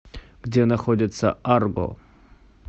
где находится арго